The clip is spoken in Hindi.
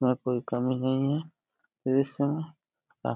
यहाँ कोई कमी नहीं है। --